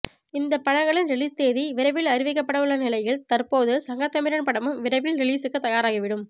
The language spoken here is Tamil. இந்த படங்களின் ரிலீஸ் தேதி விரைவில் அறிவிக்கப்படவுள்ள நிலையில் தற்போது சங்கத்தமிழன் படமும் விரைவில் ரிலீசுக்கு தயாராகிவிடும்